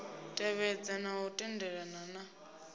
tevhedza na u tendelana na